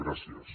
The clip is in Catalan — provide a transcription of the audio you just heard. gràcies